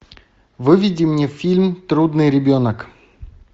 выведи мне фильм трудный ребенок